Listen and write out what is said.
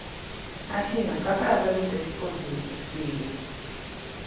афина какая валюта используется в киеве